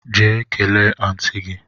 Jee kelee Aunty gi!